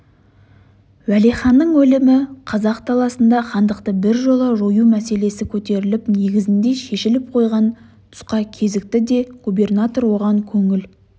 уәлиханның өлімі қазақ даласында хандықты біржола жою мәселесі көтеріліп негізінде шешіліп қойған тұсқа кезікті де губернатор оған көңіл